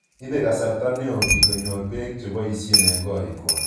Ipe kasarta neo piik konyor peek che poisye eng' korikwak